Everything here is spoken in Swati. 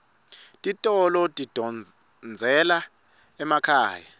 titolo tidondzela emakhaya